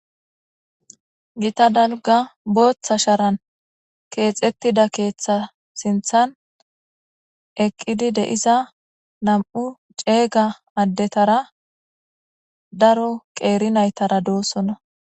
gita dalga booththa sharan keexettida keeththa sinthan eqqidi de'iza nam'u ceeyga addetara daro qeeri naytara doossonna